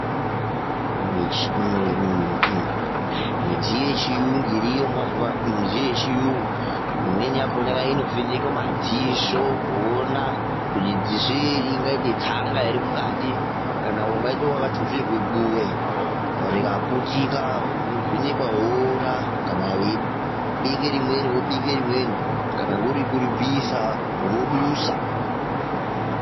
Midziyo yechiyungu irimo mazuva anawa, midziyo yechirungu imweni inovheneka madziso kuona kuti dziso iri ringaita tsanga here mukati kana ungati wakatuzirwa buwe rikaputika, unovhenekwa woona kana weibekwa rimweni wobekwa rimweni kana kuri kuribvisa wodusa.